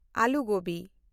ᱟᱞᱩ ᱜᱳᱵᱤ